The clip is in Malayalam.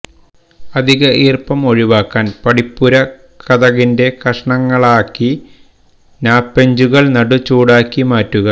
അധിക ഈർപ്പം ഒഴിവാക്കാൻ പടിപ്പുരക്കതകിന്റെ കഷണങ്ങളാക്കി നാപെഞ്ചുകൾ നടു ചൂടാക്കി മാറ്റുക